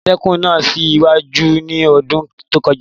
Àmọ́tẹ́kùn náà sì ìwà wù ní ọdún tó kọjá